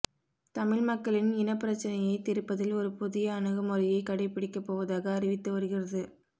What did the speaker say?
தமிழ் மக்களின் இனப்பிரச்சினையைத் தீர்ப்பதில் ஒரு புதிய அணுகுமுறையைக் கடைப்பிடிக்கப் போவதாக அறிவித்து வருகிறது